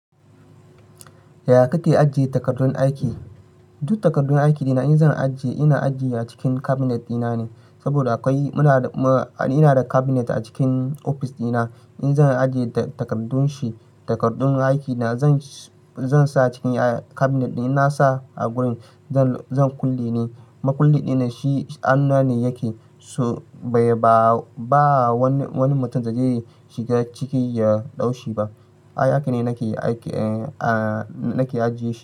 Yaya kake ajiye takardun aiki? Duk takardun aiki dina in zan ajiye, ina ajiye a cikin cabinet dina ne. Saboda ina da cabinet a cikin ofis dina. In zan ajiye takardun shi, takardun aiki na zan sa cikin cabinet dina, na sa a gurin zan kulle ne. Makulle dina shi hannu ne yake, so ba wani mutum da zai shiga ciki ya daushi ba haka ne nake ajiye shi.